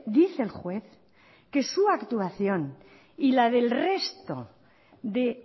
dice el juez que su actuación y la del resto de